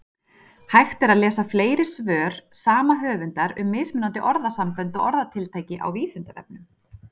Hægt er að lesa fleiri svör sama höfundar um mismunandi orðasambönd og orðatiltæki á Vísindavefnum.